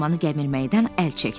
Armanı gəmirməkdən əl çəkdi.